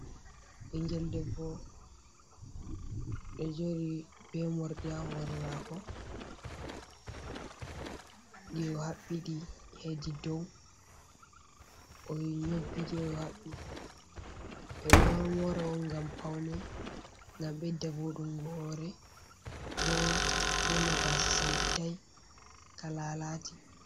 Ɓingel debbo ɗo jooɗi be morɗi ha hoore maako ɗi o haɓɓi ɗi hedi dow o nyobbiɗi o haɓɓi, ɓe ɗo moora on ngam paune, ngam ɓedda vooɗungo hoore, bo wona gaasa sankitai, ka laalaati.